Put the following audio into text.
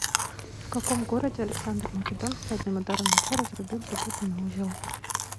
в каком городе александр македонский одним ударом меча разрубил запутанный узел